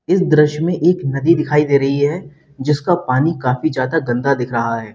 इस दृश्य में एक नदी दिखाई दे रही है जिसका पानी काफी ज्यादा गंदा दिख रहा है।